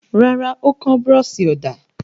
Rárá, ó kán búrọ́ṣì ọ̀dà.